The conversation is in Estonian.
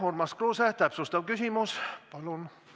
Urmas Kruuse, täpsustav küsimus, palun!